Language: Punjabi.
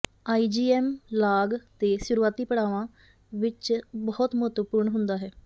ਆਈਜੀਐਮ ਲਾਗ ਦੇ ਸ਼ੁਰੂਆਤੀ ਪੜਾਆਂ ਵਿਚ ਬਹੁਤ ਮਹੱਤਵਪੂਰਨ ਹੁੰਦਾ ਹੈ